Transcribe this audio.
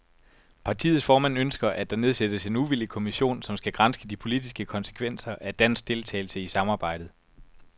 Partiets formand ønsker, at der nedsættes en uvildig kommission, som skal granske de politiske konsekvenser af dansk deltagelse i samarbejdet.